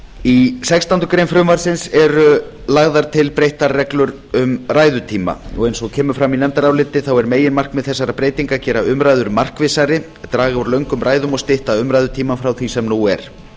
í sextándu grein frumvarpsins eru lagðar til breyttar reglur um ræðutíma eins og kemur fram í nefndaráliti þá er meginmarkmið þessara breytinga að gera umræður markvissari draga úr löngum ræðum og stytta umræðutímann frá því sem nú er